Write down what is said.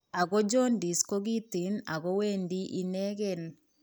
Ako jaundice ko kiten ako wendii ineken